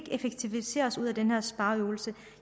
effektivisere os ud af denne spareøvelse